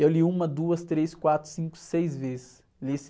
E eu li uma, duas, três, quatro, cinco, seis vezes.